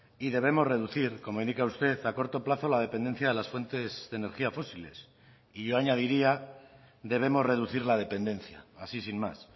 y debemos reducir como indica usted a corto plazo la dependencia de las fuentes de energía fósiles y yo añadiría debemos reducir la dependencia así sin más